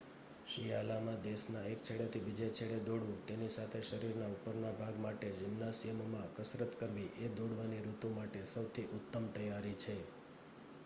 શિયાલામાં દેશના એક છેડેથી બીજે છેડે દોડવું તેની સાથે શરીરના ઉપરના ભાગ માટે જિમ્નાશિયમમાં કસરત કરવી એ દોડવાની ઋતુ માટે સૌથી ઉત્તમ તૈયારી છે